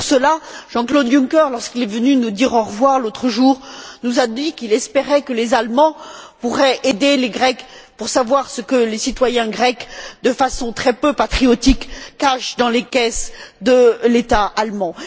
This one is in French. Et, pour cela, Jean Claude Junker, lorsqu'il est venu nous dire au revoir l'autre jour, nous a dit qu'il espérait que les Allemands pourraient aider les Grecs pour savoir ce que les citoyens grecs, de façon très peu patriotique, cachent dans les caisses de l'État allemand.